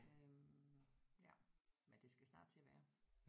Øh ja men det skal snart til at være